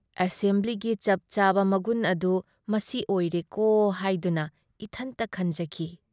ꯑꯦꯁꯦꯝꯕ꯭ꯂꯤꯒꯤ ꯆꯞ ꯆꯥꯕ ꯃꯒꯨꯟ ꯑꯗꯨ ꯃꯁꯤ ꯑꯣꯏꯔꯦꯀꯣ ꯍꯥꯏꯗꯨꯅ ꯏꯊꯟꯇ ꯈꯟꯖꯈꯤ ꯫